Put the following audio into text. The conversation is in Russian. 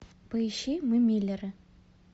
поищи мы миллеры